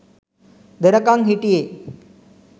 දෙනකම් හිටියේ.